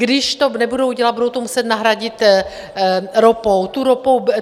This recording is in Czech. Když to nebudou dělat, budou to muset nahradit ropou.